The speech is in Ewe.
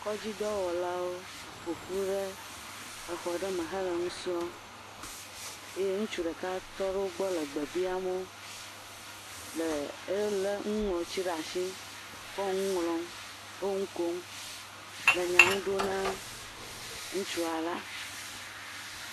Kɔdzidɔwɔlawo ƒo ƒu ɖe exɔ ɖe me hele nu srɔ̃m eye ŋutsu ɖeka tɔ wo gbɔ le gbe biam wo, le elé nuŋlɔti ɖe atsi, wole nu ŋlɔm, wo nu kom, le nya ŋu ɖom na ŋutsua la.